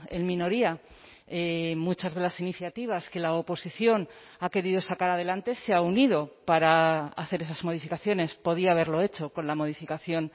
en minoría muchas de las iniciativas que la oposición ha querido sacar adelante se ha unido para hacer esas modificaciones podía haberlo hecho con la modificación